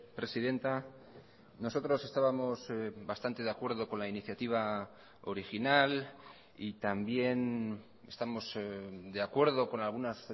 presidenta nosotros estábamos bastante de acuerdo con la iniciativa original y también estamos de acuerdo con algunas